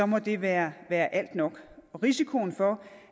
må det være være alt nok og risikoen for